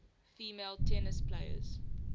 female tennis players